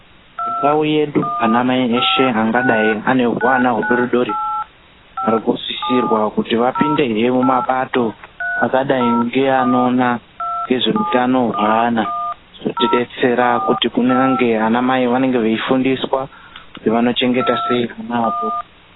Mundau yedu anamai eshe angadai ane huwana hudori dori, ari kusisirwa kuti vapindehe mumapato akadai ngeanoona ngezveutano hwaana. Zvinotidetsera kuti kunyange anamai vanenge veifundiswa kuti vanochengeta sei vana adoko.